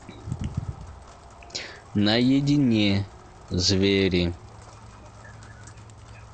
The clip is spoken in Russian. наедине звери